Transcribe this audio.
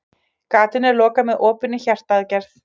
Gatinu er lokað með opinni hjartaaðgerð.